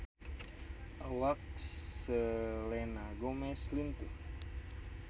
Awak Selena Gomez lintuh